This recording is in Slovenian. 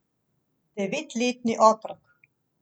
Devetletni otrok.